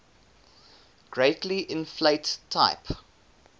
greatly inflate type